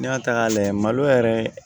N'i y'a ta k'a lajɛ malo yɛrɛ